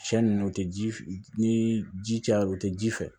Siɲɛ nunnu o tɛ ji ni ji cayara o tɛ ji fɛ